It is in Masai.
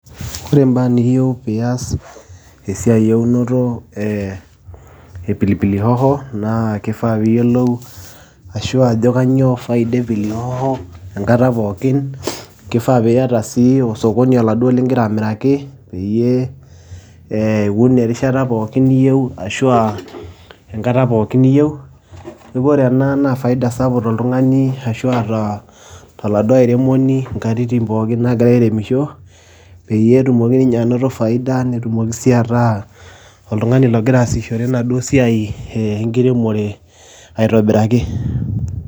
Kore mbaa niyeu piias esiai eunoto ee e pilipili hoho, naa kifaa piiyolou ashu ajo kanyoo faida e pilipili hoho enkata pookin, kifaa piyata sii osokoni oladuoa ling'ira amiraki peyie ee iun erishata pookin niyeu ashu aa enkata pookin niyeu. Neeku ore ena naa faida sapuk toltung'ani ashua ataa toladuo airemoni nkatitin pookin naagira airemisho peyie etumoki ninye anoto faida, netumoki sii ataa oltung'ani logira aasishore enaduo siai ee enkiremore aitobiraki.